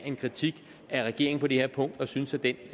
en kritik af regeringen på det her punkt og synes at den